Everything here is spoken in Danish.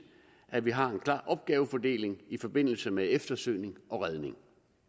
at vi har en klar opgavefordeling i forbindelse med eftersøgning og redning